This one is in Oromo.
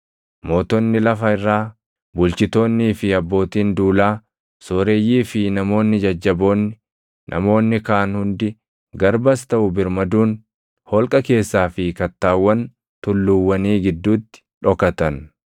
Mootonni lafa irraa, bulchitoonnii fi abbootiin duulaa, sooreyyii fi namoonni jajjaboonni, namoonni kaan hundi, garbas taʼu birmaduun holqa keessaa fi kattaawwan tulluuwwanii gidduutti dhokatan.